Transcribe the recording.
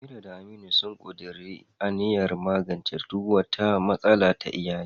Amira da Aminu sun ƙuduri aniyar magance duk wata matsala ta iyali.